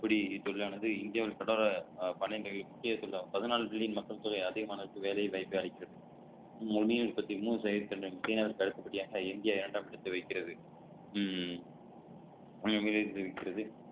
பிடி தொழிலானது இந்தியாவில் தொடர பன்னெண்டு முக்கிய பதினாலு billion மக்கள் தொகை அதிகமான அளவுக்கு வேலை வாய்ப்பு அளிக்கிறது மொழியைப் பத்தி மூணு சதவீதத்திலும் சீனாவிற்கு அடுத்தபடியாக இந்தியா இரண்டாம் இடத்தை வைக்கிறது உம் வைக்கிறது